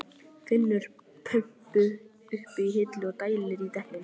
Finnur pumpu uppi á hillu og dælir í dekkin.